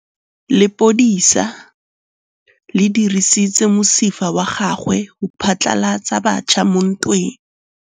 Lepodisa le dirisitse mosifa wa gagwe go phatlalatsa batšha mo ntweng.